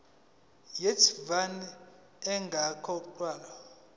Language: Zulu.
ye vat ingakakhokhwa